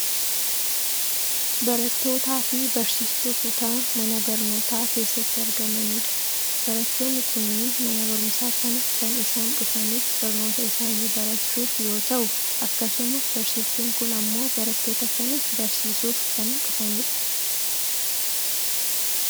barattoota fi barsiiftuu kutaa mana barnootaa keessatti argamanidha. barattoonni kunniin mana barumsaa kana kan isaan dhufaniif barnoota isaanii barachuuf yoo ta'u akkasuma barsiiftuun kun ammoo barattoota kana barsiisuuf kan dhufanidha.